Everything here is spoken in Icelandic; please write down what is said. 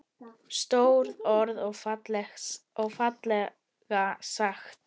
Stór orð og fallega sagt.